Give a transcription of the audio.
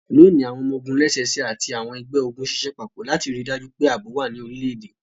Loni, awọn ọmọ-ogun lẹ́sẹsẹ ati àwọn ẹgbẹ-ogun ṣiṣẹ papọ lati rii daju pe aabo wa ní orilẹ-ede.